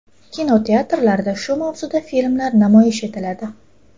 Kinoteatrlarda shu mavzuda filmlar namoyish etiladi.